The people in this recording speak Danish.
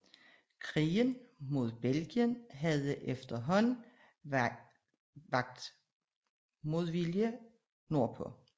Krigen mod Belgien havde efterhåanden vakt modvilje nord på